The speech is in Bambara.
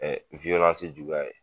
juguya ye